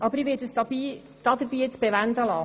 Aber ich werde es jetzt dabei bewenden lassen.